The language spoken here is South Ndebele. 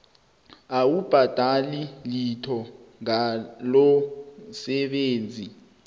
awubhadeli litho ngalomsebenzi